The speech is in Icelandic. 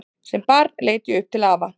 Sem barn leit ég upp til afa.